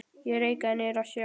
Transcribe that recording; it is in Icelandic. Ég reikaði niður að sjó.